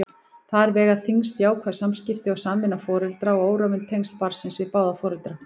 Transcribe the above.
Þar vega þyngst jákvæð samskipti og samvinna foreldra og órofin tengsl barnsins við báða foreldra.